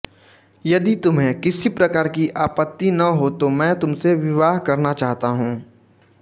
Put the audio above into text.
यदि तुम्हें किसी प्रकार की आपत्ति न हो तो मैं तुमसे विवाह करना चाहता हूँ